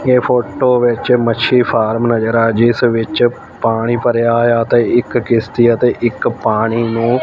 ਇਹ ਫੋਟੋ ਵਿੱਚ ਮੱਛੀ ਫਾਰਮ ਨਜ਼ਰ ਆ ਜਿਸ ਵਿੱਚ ਪਾਣੀ ਭਰਿਆ ਹੋਇਆ ਤੇ ਇੱਕ ਕਿਸ਼ਤੀ ਆ ਤੇ ਇੱਕ ਪਾਣੀ ਨੂੰ--